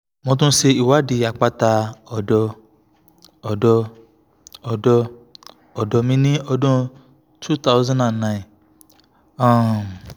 mo tún ṣe ìwádìí àpáta ọ̀dọ́ ọ̀dọ́ ọ̀dọ́ ọ̀dọ́ mi ní ọdún cs] two thousand and nine um